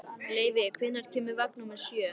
Leivi, hvenær kemur vagn númer sjö?